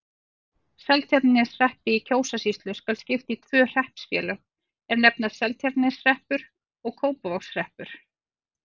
Seltjarnarneshreppi í Kjósarsýslu skal skipt í tvö hreppsfélög, er nefnast Seltjarnarneshreppur og Kópavogshreppur.